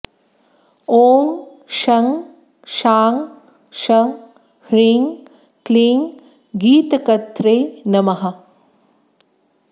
ॐ शं शां षं ह्रीं क्लीं गीतकर्त्रे नमः